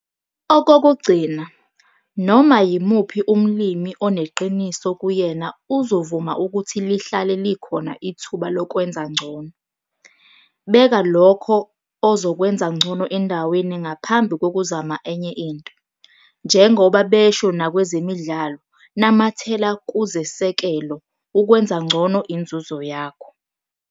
Okokugcina, noma yimuphi umlimi oneqiniso kuyena uzovuma ukuthi lihlale likhona ithuba lokwenza ngcono. Beka lokho ozokwenza ngcono endaweni ngaphambi kokuzama enye into. Njengoba besho nakwezemidlalo 'namathela kuzesekelo' ukwenza ngcono inzuzo yakho.